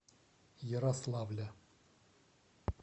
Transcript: ярославля